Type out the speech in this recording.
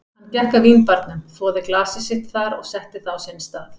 Hann gekk að vínbarnum, þvoði glasið sitt þar og setti það á sinn stað.